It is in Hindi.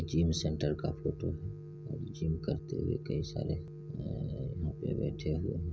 जिम सेंटर का फोटो है और जिम करते हुए कई सारे अ यहाँ पे बैठे हुए --